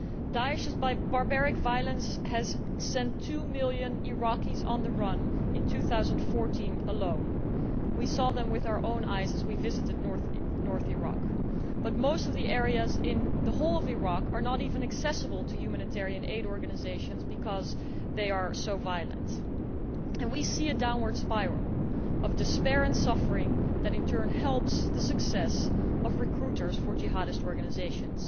Daesh's barbaric violence sent two million Iraqis on the run in 2014 alone. We saw them with our own eyes as we visited northern Iraq, but most areas throughout Iraq are not even accessible to humanitarian aid organisations because they are so violent. And we see a downward spiral of despair and suffering that, in turn, helps the success of recruiters for jihadist organisations.